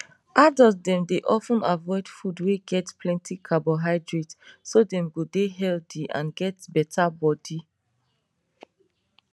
adult dem dey of ten avoid food wey get plenty carbohydrate so dem go dey healthy and get better body